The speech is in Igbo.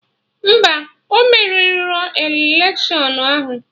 Mba, ọ merirọ electiọnụ ahụ